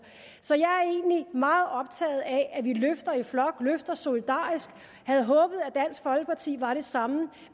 så jeg er egentlig meget optaget af at vi løfter i flok løfter solidarisk og havde håbet på at dansk folkeparti var det samme